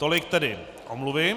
Tolik tedy omluvy.